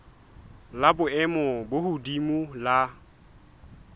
la boemo bo hodimo la